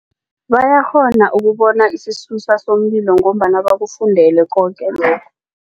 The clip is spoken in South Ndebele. Bayakghona ukubona isisusa somlilo ngombana bakufundele koke lokho.